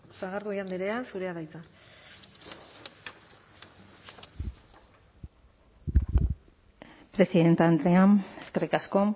sagardui andrea zurea da hitza presidente andrea eskerrik asko